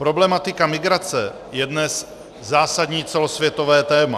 Problematika migrace je dnes zásadní celosvětové téma.